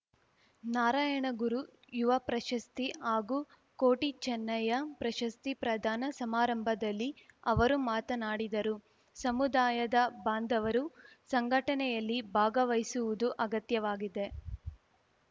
ನಾರಾಯಣಗುರು ಯುವ ಪ್ರಶಸ್ತಿ ಹಾಗೂ ಕೋಟಿ ಚೆನ್ನಯ್ಯ ಪ್ರಶಸ್ತಿ ಪ್ರದಾನ ಸಮಾರಂಭದಲ್ಲಿ ಅವರು ಮಾತನಾಡಿದರು ಸಮುದಾಯದ ಬಾಂಧವರು ಸಂಘಟನೆಯಲ್ಲಿ ಭಾಗವಹಿಸುವುದು ಅಗತ್ಯವಾಗಿದೆ